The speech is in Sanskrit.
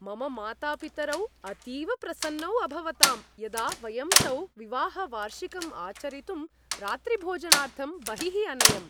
मम मातापितरौ अतीव प्रसन्नौ अभवतां यदा वयं तौ विवाहवार्षिकम् आचरितुम् रात्रिभोजनार्थं बहिः अनयम्।